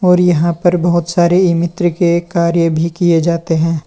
और यहां पर बहुत सारे ई मित्र के कार्य भी किए जाते हैं।